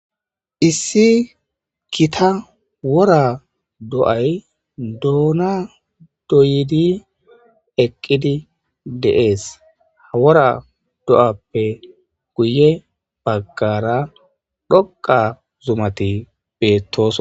issi gita wora do7ay doona doyidi eqqidi deees hawora do7appe guye baggara dhoqa zumati beettos